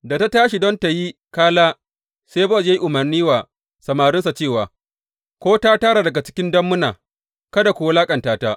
Da ta tashi don tă yi kala, sai Bowaz ya yi umarni wa samarinsa cewa, Ko ta tara daga cikin dammuna, kada ku wulaƙanta ta.